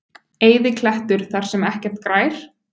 Eyðiklettur þar sem ekkert grær?